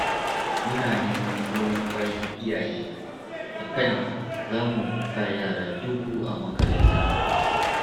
Muna neman goyon bayan iyaye a kan za mu sa yara dubu a makaranta